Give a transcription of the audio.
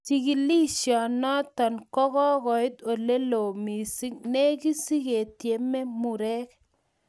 Chikilisionotok kokoit oleloo mising legit siketyemee murek